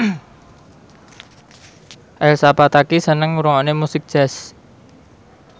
Elsa Pataky seneng ngrungokne musik jazz